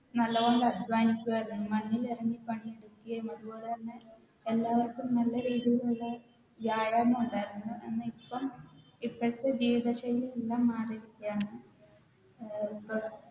നല്ലപോലെ അധ്വാനിക്കുവാരുന്നു മണ്ണിലിറങ്ങി പണി എടുക്കുകയും അതുപോലെ തന്നെ എല്ലാവർക്കും നല്ല രീതിയിലുള്ള വ്യായാമം ഒണ്ടാരുന്നു എന്ന ഇപ്പോം ഇപ്പത്തെ ജീവിത ശൈലി എല്ലാം മാറിയിരിക്കു ആണ് അഹ് ഇപ്പൊ